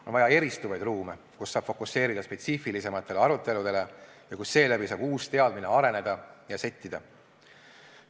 On vaja eristuvaid ruume, kus saab fokuseerida spetsiifilisematele aruteludele ja kus seeläbi saab uus teadmine areneda ja settida.